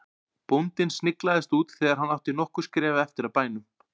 Bóndinn sniglaðist út þegar hann átti nokkur skref eftir að bænum.